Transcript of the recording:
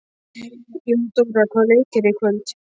Jóndóra, hvaða leikir eru í kvöld?